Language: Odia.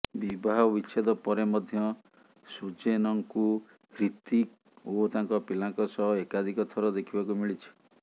ବିବାହ ବିଚ୍ଛେଦ ପରେ ମଧ୍ୟ ସୁଜେନଙ୍କୁ ହ୍ରିତିକ ଓ ତାଙ୍କ ପିଲାଙ୍କ ସହ ଏକାଧିକ ଥର ଦେଖିବାକୁ ମିଳିଛି